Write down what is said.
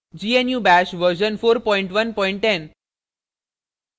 gnu bash version 4110